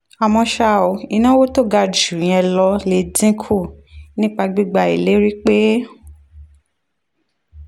àmọ́ ṣá o ìnáwó tó ga ju ìyẹn lọ lè dín kù nípa gbígba ìlérí pé